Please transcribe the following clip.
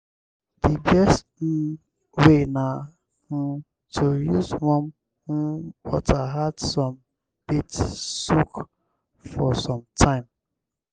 di best um way na um to use warm um water add some bath soak for some time.